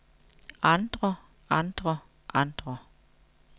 andre andre andre